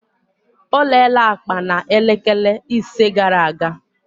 Olele akpa na elekele ise gara aga.